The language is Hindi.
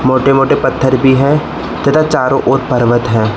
मोटे मोटे पत्थर भी हैं तथा चारों ओर पर्वत हैं।